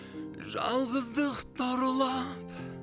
жалғыздық тарлап